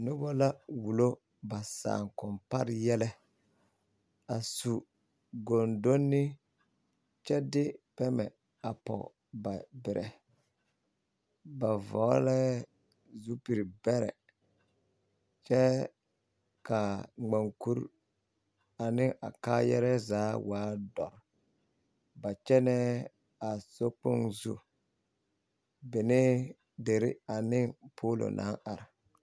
Noba la wulo ba saakompare yɛlɛ a su gondoni kyɛ de pɛmmɛ a pɔge ba berɛ ba vɔglɛɛ zupili bɛrɛ kyɛ ka ŋmankuri ne a kaaya re zaa waa dɔre ba kyɛnɛɛ a sokpoŋ zu benee dere ane polo naŋ are.